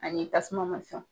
Ani tasuma ma sɔn